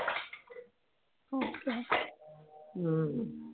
ஆஹ்